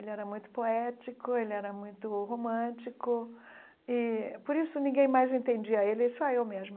Ele era muito poético, ele era muito romântico, e por isso ninguém mais entendia ele, só eu mesma.